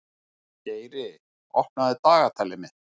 Geiri, opnaðu dagatalið mitt.